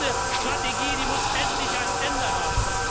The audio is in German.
ist. Diese Strategie muss endlich ein Ende